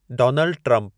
Donald Trump